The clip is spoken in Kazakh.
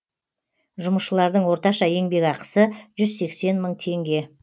жұмысшылардың орташа еңбекақысы жүз сексен мың теңге